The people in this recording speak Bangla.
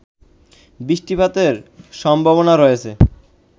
বৃষ্টিপাতের সম্ভাবনা রয়েছে